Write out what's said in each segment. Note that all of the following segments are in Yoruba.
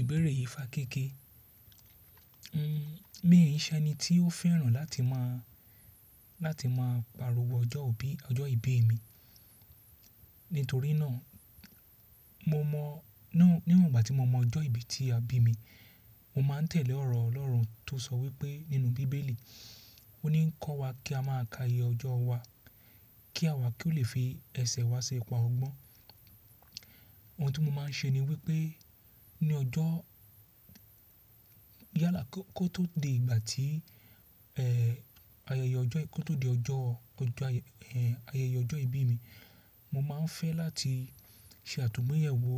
Ìbéèrè yìí fà kí ki. Hhm, mi ò ní ṣẹ́ni tí ó fẹ́ràn láti máa, láti máa pariwo ọjọ́ ìbí, ọjọ́ ìbí mi. Nítorí náà, mo mọ̀, náà, níwòn ìgbà tí mo mọ ọjọ́ ìbí tí àbí mi, mo máa ń tẹ̀lé ọ̀rọ̀ Ọlọ́run tó sọ wí pé nínú bíbélì, ó ní ń kọ́ wa kí a máa ka iye ọjọ́ wa, kí àwa kí ó lè fi ẹsẹ̀ wa ṣe ipa ọgbọ́n. Ohun tí mo máa ń ṣe ni wípé ní ọjọ́, yálà kó tó di ìgbà tí, ẹ́ẹ́, ayẹyẹ ọjọ́, kó tó dé ọjọ́, ọjọ́ ayẹ-- ẹ́ẹ́, ayẹyẹ ọjọ́ ìbí mi, mo máa ń fẹ́ láti ṣe atungbe yẹ̀ wò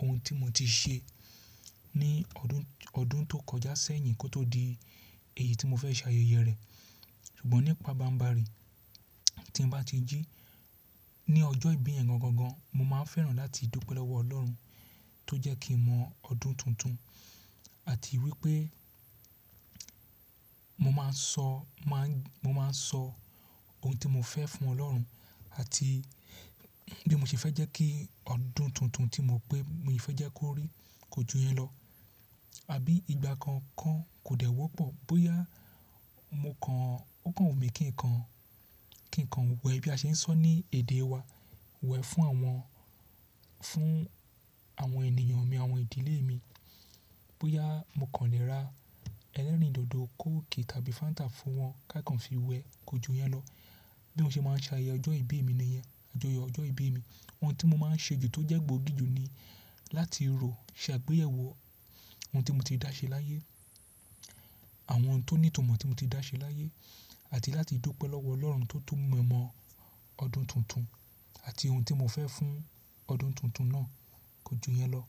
ohun tí mo ti ṣe ní ọdún, ọdún tó kọjá sẹ́yìn kó tó di èyí tí mo fẹ́ ṣe ayẹyẹ rẹ̀. Ṣùgbọ́n nípa bá ń ba rí, tí n bá ti jí ní ọjọ́ ìbí yẹn gan gan gan, mo máa ń fẹ́ràn láti dópe lọ́wọ Ọlọ́run tó jẹ́ kí n mọ ọdún tuntun àti wí pé mo máa ń sọ, máa ń, mo máa ń sọ ohun tí mo fẹ́ fún Ọlọ́run àti bí mo ṣe fẹ́ jẹ́ kí ọdún tuntun tí mo pé, mo yí fẹ́ jẹ́ kó rí kò ju yẹn lọ. Àbí ìgbà kọ̀ọ̀kan, kò dẹ̀ wọ́pọ̀ bóyá mo kan, ó kan omi kí n kan, kí n kan wẹ̀ bí a ṣe ń sọ ní èdè wa, wẹ̀ fún àwọn, fún àwọn ènìyàn mi àwọn ìdílé mi. Bóyá mo kàn lè ra ẹlẹ́rìndòdò kóòkì tàbí Fanta fún wọn kí wọn fi wẹ̀ kò ju yẹn lọ. Bí mo ṣe máa ń ṣe ayẹyẹ ọjọ́ ìbí mi nìyẹn, ajoyo, ọjọ́ ìbí mi. Ohun tí mo máa ń ṣe jù tó jẹ́ gbòógì jù ni láti rò, ṣe àgbéyẹ̀wọ̀ ohun tí mo ti dá ṣe láyé, àwọn ohun tó ní ìtùmọ̀ tí mo ti dá ṣe láyé àti láti dúpẹ́ lọ́wọ́ Ọlọ́run tó tún mọ̀ ọdún tuntun àti ohun tí mo fẹ́ fún ọdún tuntun náà kò ju yẹn lọ.